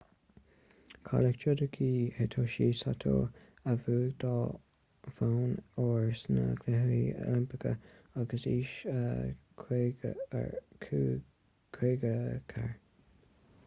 cailleadh judoka hitoshi saito a bhuaigh dhá bhonn óir sna cluichí oilimpeacha ag aois 54